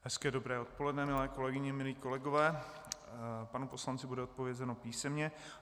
Hezké dobré odpoledne, milé kolegyně, milí kolegové, panu poslanci bude odpovězeno písemně.